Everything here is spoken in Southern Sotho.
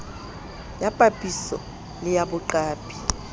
ya papiso le ya boqapi